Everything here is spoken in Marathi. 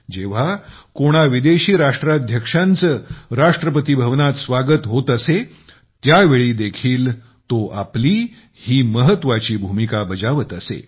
जेव्हा कोणा विदेशी राष्ट्राध्यक्षांचे राष्ट्रपतिभवनात स्वागत होत असे त्या वेळीदेखील तो आपली ही महत्त्वाची भूमिका बजावत असे